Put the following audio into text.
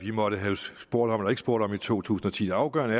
vi måtte have spurgt om eller ikke spurgt om i to tusind og ti det afgørende